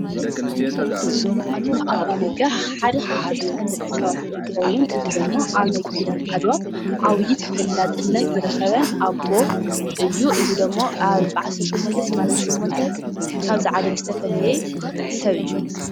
ኣሉላ ኣባነጋ ሓደ ካብቶም ተፈለጥቲ ሰባት እንትኸዉን እዚ ድማ ኣብ ናይ ኲናት ዓድዋ ዓብይ ተፈላጥነት ዝረኸበን ኣቦ እዩ፡፡ እዚ ዶሞ ኣብ ብ1888 ካብዚ ዓለም ዝተፈለየ ሰብ እዩ፡፡